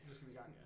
Nu skal vi i gang